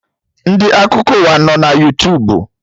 Ndị Akụkọ ụwa nọ na Yootubu